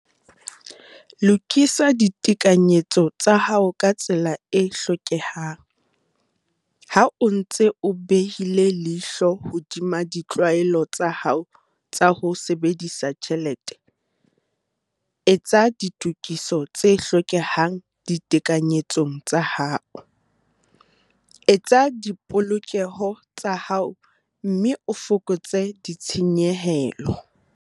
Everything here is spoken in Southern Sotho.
Lokisa ditekanyetso tsa hao ka tsela e hlokehang - Ha o ntse o behile leihlo hodima ditlwaelo tsa hao tsa ho sebedisa tjhelete, etsa ditokiso tse hlokehang ditekanyetsong tsa hao, eketsa dipolokeho tsa hao mme o fokotse ditshenyehelo.